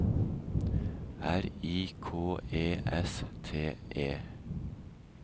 R I K E S T E